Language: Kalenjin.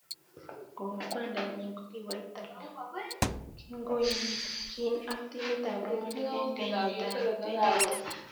Kou kwanda nyin kokiwo Italy kingoyanjin ak timit tab Romanik eng kenyittab 2018